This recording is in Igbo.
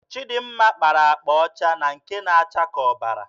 Chịdịmma kpara akpa ọcha na nke na-acha ka ọbara.